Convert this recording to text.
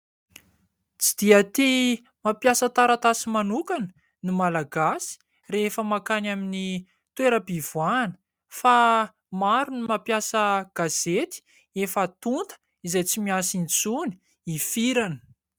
Tsy dia tia mampiasa taratasy manokana ny malagasy rehefa makany amin'ny toeram-pivoahana fa maro ny mampiasa gazety efa tonta izay tsy miasa intsony hifirana.